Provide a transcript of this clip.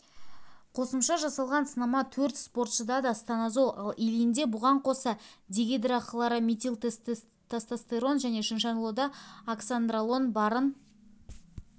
қосымша жасалған сынама төрт спортшыда да станозол ал ильинде бұған қоса дегидрохлорометилтестостерон және чиншанлода оксандролон барын